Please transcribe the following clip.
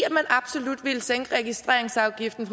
absolut ville sænke registreringsafgiften